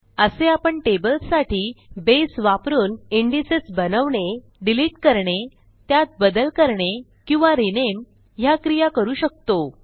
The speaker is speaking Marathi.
असे आपण टेबल्ससाठी बेस वापरुन indexesबनवणे डिलिट करणे त्यात बदल करणे किंवा रिनेम ह्या क्रिया करू शकतो